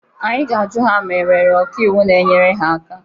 Anyị ga-ajụ ha ma e nwere ọka iwu na-enyere ha aka.